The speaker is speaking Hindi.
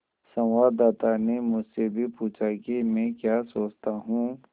संवाददाता ने मुझसे भी पूछा कि मैं क्या सोचता हूँ